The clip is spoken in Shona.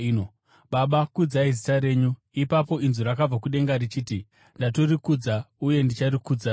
Baba, kudzai zita renyu!” Ipapo inzwi rakabva kudenga richiti, “Ndatorikudza, uye ndicharikudzazve.”